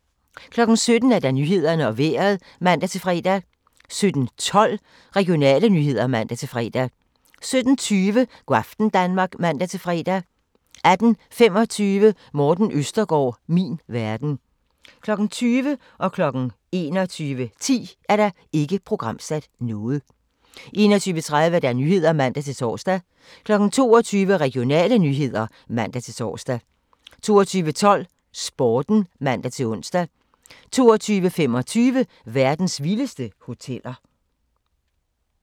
17:00: Nyhederne og Vejret (man-fre) 17:12: Regionale nyheder (man-fre) 17:20: Go' aften Danmark (man-fre) 18:25: Morten Østergaard - min verden 20:00: Ikke programsat 21:10: Ikke programsat 21:30: Nyhederne (man-tor) 22:00: Regionale nyheder (man-tor) 22:12: Sporten (man-ons) 22:25: Verdens vildeste hoteller